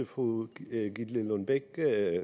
fru gitte lillelund bech